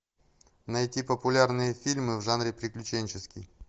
найти популярные фильмы в жанре приключенческий